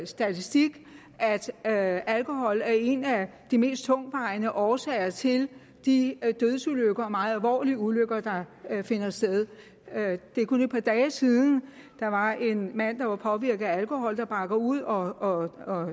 statistik at alkohol er en af de mest tungtvejende årsager til de dødsulykker og meget alvorlige ulykker der finder sted det er kun et par dage siden der var en mand der var påvirket af alkohol der bakker ud og